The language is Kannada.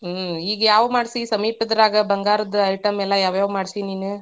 ಹ್ಮ್ ಈಗ ಯಾವ್ದ ಮಾಡ್ಸಿ ಸಮೀಪದ್ರಾಗ ಬಂಗಾರದ್ item ಎಲ್ಲಾ ಯಾವ್ಯಾವ್ ಮಾಡ್ಸಿ ನೀನ?